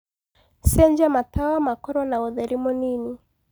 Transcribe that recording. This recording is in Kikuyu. cenjĩa matawa makorwo naũtherĩ mũnĩnĩ